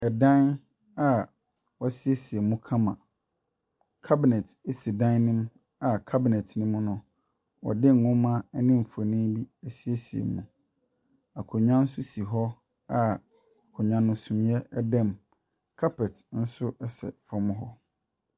Ɛdan a wɔsiesie mu kama. Cabinet esi dan no mu a cabinet no mu no ɔde nwoma ɛne nfonni bi ɛsiesie mu. Akonwa nso si hɔ a akonwa no sumiɛ ɛdam. Carpet nso ɛsɛ fam hɔ.